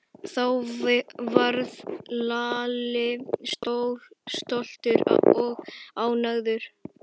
Þá varð Lalli stoltur og ánægður.